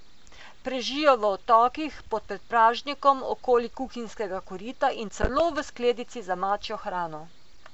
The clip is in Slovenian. Prežijo v odtokih, pod predpražnikom, okoli kuhinjskega korita in celo v skledici za mačjo hrano.